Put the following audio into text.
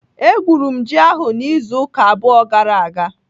Egwuru m ji ahụ n'izu ụka abụọ gara aga.